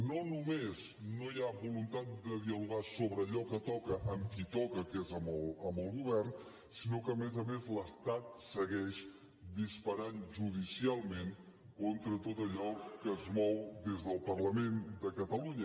no només no hi ha voluntat de dialogar sobre allò que toca amb qui toca que és amb el govern sinó que a més a més l’estat segueix disparant judicialment contra tot allò que es mou des del parlament de catalunya